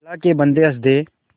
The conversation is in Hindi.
अल्लाह के बन्दे हंस दे